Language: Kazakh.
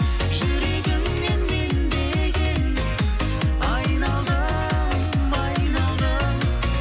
жүрегіңнен мен деген айналдым айналдым